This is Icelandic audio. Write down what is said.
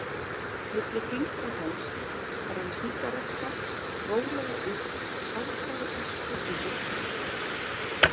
Milli fingra hans brann sígaretta rólega upp og sáldraði ösku yfir diskinn.